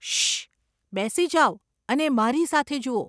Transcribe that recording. શશશ.. બેસી જાવ અને મારી સાથે જુઓ.